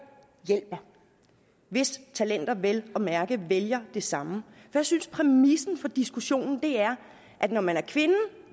hjælper hvis talenter vel at mærke vælger det samme jeg synes at præmissen for diskussionen er at når man er kvinde